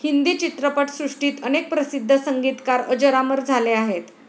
हिंदी चित्रपट सृष्टीत अनेक प्रसिद्ध संगीतकार अजरामर झाले आहेत.